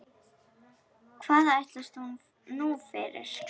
Hvað ætlast hún nú fyrir?